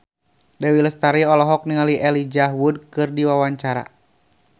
Dewi Lestari olohok ningali Elijah Wood keur diwawancara